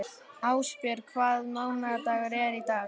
Ásbjörg, hvaða mánaðardagur er í dag?